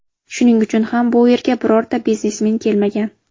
Shuning uchun ham bu yerga birorta biznesmen kelmagan.